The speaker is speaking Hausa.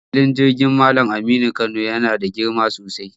Filin jirgin Mallam Aminu Kano yana da girma sosai.